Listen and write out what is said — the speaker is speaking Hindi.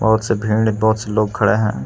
और इस भीड़ में बहुत से लोग खड़े हैं।